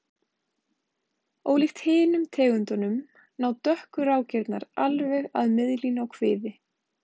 Ólíkt hinum tegundunum ná dökku rákirnar alveg að miðlínu á kviði.